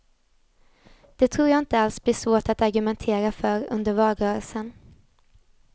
Det tror jag inte alls blir svårt att argumentera för under valrörelsen.